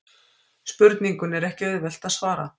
Spurningunni er ekki auðvelt að svara.